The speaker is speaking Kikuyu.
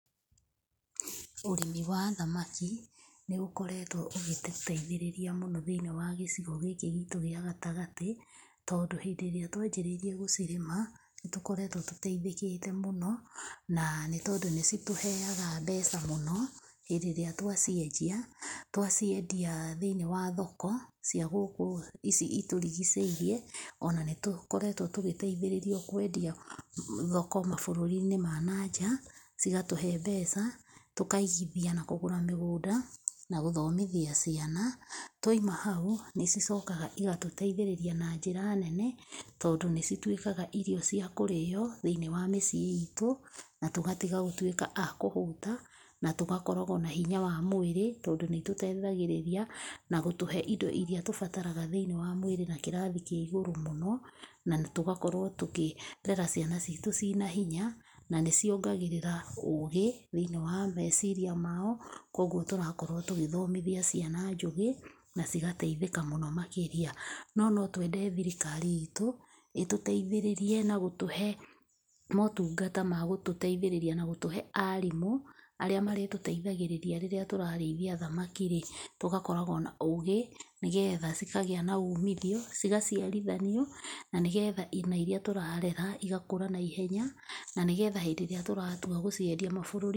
Ũrĩmi wa thamaki, nĩ ũkoretwo ũgĩtũteithĩrĩria mũno thĩiniĩ wa gĩcigo gĩkĩ gitũ gĩa gatagatĩ, tondũ hĩndĩ ĩrĩa twanjĩrĩirie gũcirĩma, nĩ tũkoretwo tũtethĩkĩte mũno, na nĩ tondũ nĩ citũheaga mbeca mũno hĩndĩ ĩrĩa twaciendia. Twaciendia thĩiniĩ wa thoko cia gũkũ ici itũrigicĩirie, ona nĩ tũkoretwo tũgĩteithĩrĩrio kwendia thoko mabũrũri-inĩ ma na nja, cigatũhe mbeca, tũkaigithia na kũgũra mĩgũnda, na gũthomithia ciana. Twaima hau, nĩ cicokaga igatũteithĩrĩria na njĩra nene, tondũ nĩ cituĩkaga irio cia kũrĩo thĩiniĩ wa mĩciĩ iitũ, na tũgatiga gũtuĩka a kũhũta, na tũgakoragwo na hinya wa mwĩrĩ tondũ nĩ tũteithagĩrĩria na gũtũhe indo irĩa tũbataraga thĩiniĩ wa mwĩrĩ na kĩrathi kĩa igũrũ mũno, na tũgakorwo tũkĩrera ciana ciitũ cina hinya, na nĩ ciongagĩrĩra ũũgĩ thĩiniĩ wa meciria mao, kũguo tũrakorwo tũgĩthomithia ciana njũgĩ na cigateithĩka mũno makĩria. No no twende thirikari iitũ, ĩtũteithĩrĩrie na gũtũhe motungata ma gũtũteithĩrĩria na gũtũhe aarimũ, arĩa marĩtũteithagĩrĩria rĩrĩa tũrarĩithia thamaki rĩ, tũgakoragwo na ũũgĩ, nĩ getha cikagĩa na uumithio, cigaciarithanio, na nĩ getha na irĩa tũrarera igakũra naihenya na nĩ getha rĩrĩa tũratua gũciendia mabũrũri.